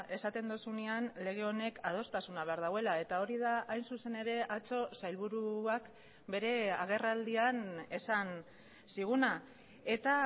esaten duzunean lege honek adostasuna behar duela eta hori da hain zuzen ere atzo sailburuak bere agerraldian esan ziguna eta